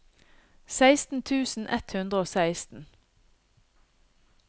seksten tusen ett hundre og seksten